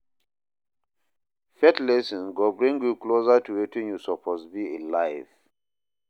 Faith lessons go bring yu closer to wetin yu soppose bi in life.